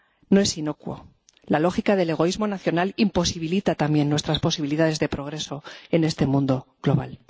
No es inocuo la lógica del egoísmo nacional imposibilita también nuestras posibilidades de progreso en este mundo global.